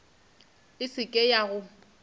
e se ke ya go